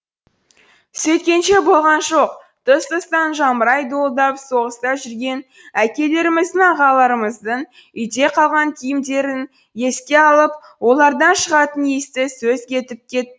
сөйткенше болған жоқ тұс тұстан жамырай дуылдап соғыста жүрген әкелеріміздің ағаларымыздың үйде қалған киімдерін еске алып олардан шығатын иісті сөз етіп кетті